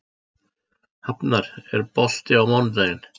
Hafnar, er bolti á mánudaginn?